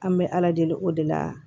An bɛ ala deli o de la